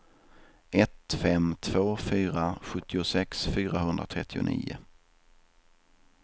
ett fem två fyra sjuttiosex fyrahundratrettionio